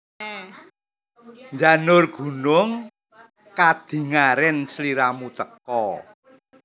Njanur gunung kadingaren sliramu teka